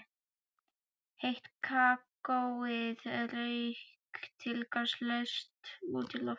Heitt kakóið rauk tilgangslaust út í loftið.